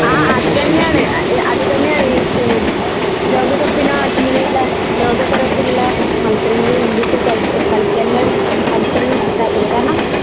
ആ അതാനെണ് ഏഹ് അത് തന്നെയാണ് ഈ ലോക കപ്പിനോ ഇങ്ങനെയുള്ള ലോക തരത്തിലുള്ള മത്സരങ്ങൾ ഇന്ത്യക്ക് സഹി കളിക്കാന്ള്ള അവസരങ്ങൾ കിട്ടാത്തത് കാരണം